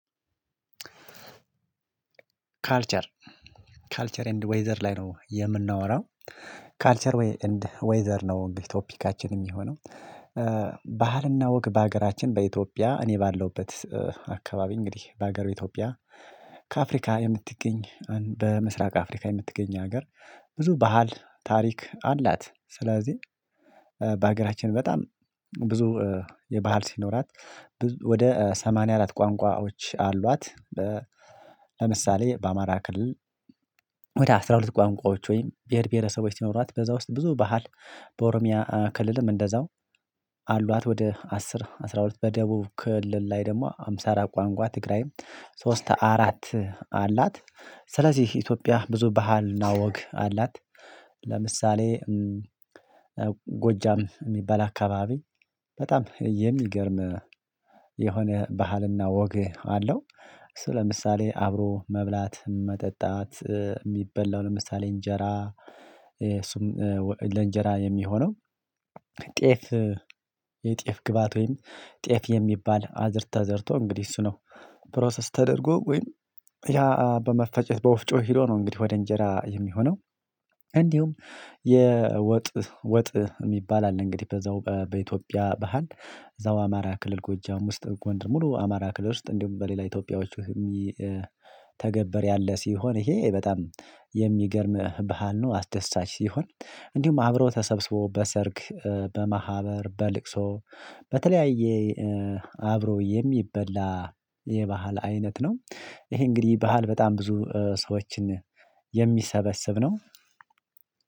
ካልቸር ካልቸር ኤንድ ዌዘር ላይ ነው የምናወራው ካልቸር ኤንድ ዌዘር ነው ቶፒካችን የሚሆነው። ባህርና ወግ በሀገራችን በኢትዮጵያ እኔ ባለውበት አካባቢ እንግዲህ በሀገሩ ኢትዮጵያ ከአፍሪካ የምትገኝ በምስራቅ አፍሪካ የምትገኝ ሀገር። ብዙ ባህል ታሪክ አላት ስለዚህ በሀገራችን በጣም ብዙ የባህል ሲኖራት ወደ ሰማንያ አራት ቋንቋዎች አሏት። ለምሳሌ በአማራ ክልል ወደ አስራ ሁለት ቋንቋዎች ወይም ብሄር ብሄረሰቦች ሲኖራት በዛ ውስጥ ብዙ ባህል። በኦሮሚያ ክልልም እንደዛው አሏት ወደ አስር አስራ ሁለት በደቡብ ክልል ላይ ደግሞ ሃምሳ አራት ቋንቋ ትግራይም ሶስት አራት አላት። ስለዚህ ኢትዮጵያ ብዙ ባህልና ወግ አላት። ለምሳሌ ጎጃም የሚበላ አካባቢ በጣም የሚገርም የሆነ ባህልና ወግ አለው። ስለምሳሌ አብሮ መብላት መጠጣት የሚበላው ለምሳሌ እንጀራ እሱም ለእንጀራ የሚሆነው ጤፍ የጤፍ ግባት ወይም ጤፍ የሚባል አዘርታ አዘርቶ እንግዲህ እሱ ነው ፕሮሰስ ተደርጎ ወይም ያ በመፈጨት በወፍጮ ሄዶ ነው እንግዲህ ወደ እንጀራ የሚሆነው። እንዲሁም የወጥ ወጥ የሚባል አለ እንግዲህ በዛው በኢትዮጵያ ባህል እዛው አማራ ክልል ጎጃም ውስጥ ጎንደር ሙሉ አማራ ክልል ውስጥ እንዲሁም በሌላ ኢትዮጵያውያን የሚተገበር ያለ ሲሆን ይሄ በጣም የሚገርም ባህል ነው። አስደሳች ሲሆን እንዲሁም አብሮ ተሰብስቦ በሰርግ በማህበር በልቅሶ በተለያየ አብሮ የሚበላ የባህል አይነት ነው። ይሄ እንግዲህ ባህል በጣም ብዙ ሰዎችን የሚሰበስብ ነው።